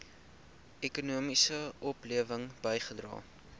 ekonomiese oplewing bygedra